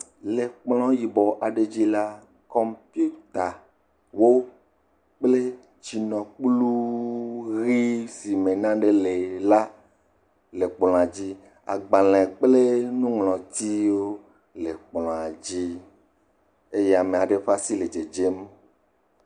Le kplɔ̃ yibɔ aɖe dzi la, kɔmpiutawo kple tsinokpluu ʋee si me nane le la le kplɔ̃a dzi. Agbalẽ kple nuŋlɔtiwo le kplɔ̃a dzi eye ama ɖe ɖe asi le dzedzem.